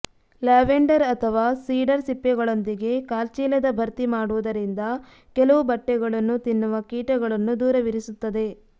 lavender ಅಥವಾ cedar ಸಿಪ್ಪೆಗಳೊಂದಿಗೆ ಕಾಲ್ಚೀಲದ ಭರ್ತಿ ಮಾಡುವುದರಿಂದ ಕೆಲವು ಬಟ್ಟೆಗಳನ್ನು ತಿನ್ನುವ ಕೀಟಗಳನ್ನು ದೂರವಿರಿಸುತ್ತದೆ